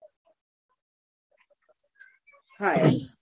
હા એ અને